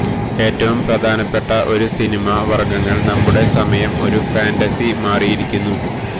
ഏറ്റവും പ്രധാനപ്പെട്ട ഒരു സിനിമ വർഗ്ഗങ്ങൾ നമ്മുടെ സമയം ഒരു ഫാന്റസി മാറിയിരിക്കുന്നു